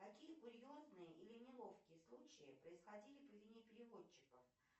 какие курьезные или неловкие случаи происходили по вине переводчиков